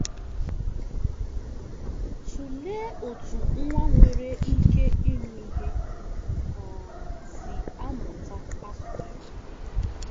Tụlee otú nwa nwere ike ịnụ ihe um si amụta asụsụ.